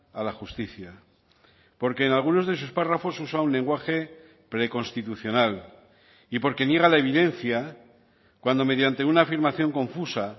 a la justicia porque en algunos de sus párrafos usa un lenguaje preconstitucional y porque niega la evidencia cuando mediante una afirmación confusa